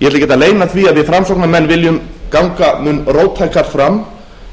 ég ætla ekkert að leyna því að við framsóknarmenn viljum ganga mun róttækar fram